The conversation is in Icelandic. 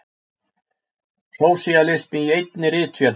Sósíalismi í einni ritvél!